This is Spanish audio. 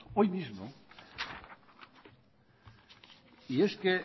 hoy mismo y es que